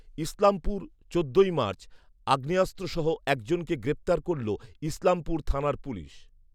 ইসলামপুর, চোদ্দোই মার্চ। আগ্নেয়াস্ত্র সহ একজনকে গ্রেপ্তার করল ইসলামপুর থানার পুলিশ।